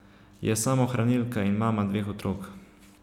Je samohranilka in mama dveh otrok.